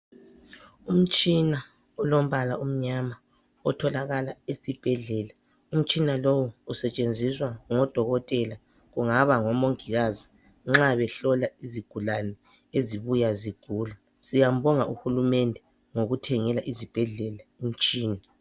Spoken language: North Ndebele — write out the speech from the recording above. Umtshina olombala omnyama otholakala esibhedlela. Umtshina lowu usetshenziswa ngodokotela kungaba ngomongikazi nxa behlola izigulani ezibuya zigula. Siyambonga uHulumende ngokuthengela izibhedlela imitshina.